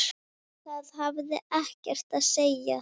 Það hafði ekkert að segja.